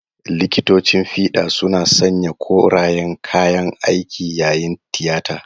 Likitocin fida suna sanya korayen kayan aiki yayin tiyata.